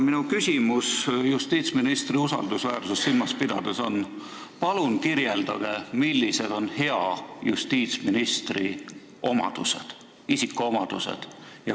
Minu palve justiitsministri usaldusväärsust silmas pidades on järgmine: palun öelge, millised on hea justiitsministri isikuomadused.